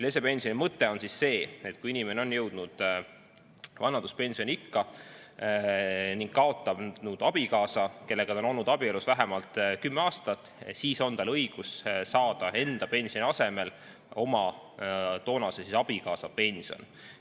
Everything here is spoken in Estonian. Lesepensioni mõte on see, et kui inimene on jõudnud vanaduspensioniikka ning kaotab abikaasa, kellega ta on olnud abielus vähemalt 10 aastat, siis on tal õigus saada enda pensioni asemel oma toonase abikaasa pensioni.